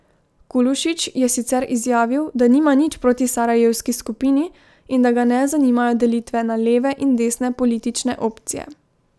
Kulušić je sicer izjavil, da nima nič proti sarajevski skupini in da ga ne zanimajo delitve na leve in desne politične opcije.